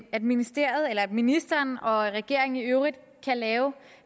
at ministeriet eller ministeren og regeringen i øvrigt kan lave